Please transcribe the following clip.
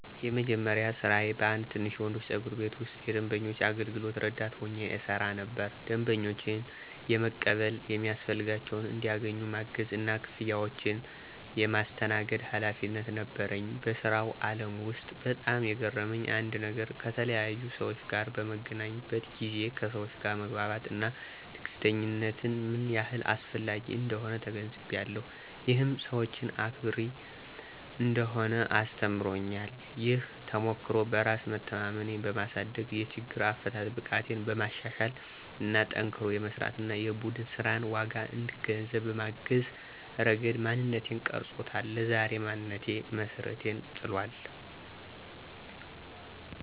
የመጀመሪያ ስራዬ በአንድ ትንሽ የወንዶች ጸጉር ቤት ውስጥ የደንበኞች አገልግሎት ረዳት ሆኜ እሰራ ነበር። ደንበኞችን የመቀበል፣ የሚያስፈልጋቸውን እንዲያገኙ ማገዝ እና ክፍያዎችን የማስተናግድ ኃላፊነት ነበረኝ። በስራው አለም ውስጥ በጣም የገረመኝ አንድ ነገር ከተለያዩ ሰዎች ጋር በምገናኝበት ጊዜ ከሰወች ጋር መግባባት እና ትዕግስተኝነት ምን ያህል አስፈላጊ እንደሆነ ተገንዝቤያለሁ። ይህም ሰወችን አክባሪ እንድሆን አስተምሮኛል። ይህ ተሞክሮ በራስ መተማመኔን በማሳደግ፣ የችግር አፈታት ብቃቴን በማሻሻል እና ጠንክሮ የመስራት እና የቡድን ስራንን ዋጋ እንድገነዘብ በማገዝ ረገድ ማንነቴን ቀርጾታል። ለዛሬ ማንነቴም መሰረትን ጥሏል።